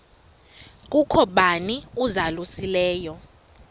kukho bani uzalusileyo